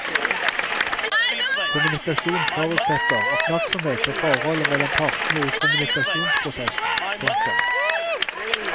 Kommunikasjon forutsetter oppmerksomhet på forholdet mellom partene i kommunikasjonsprosessen. punktum